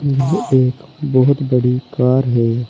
यह एक बहुत बड़ी कार है।